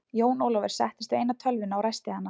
Jón Ólafur settist við eina tölvuna og ræsti hana.